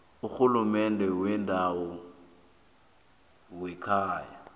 urhulumende wendawo wekhaya